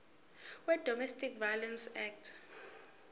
wedomestic violence act